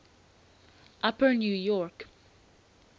upper new york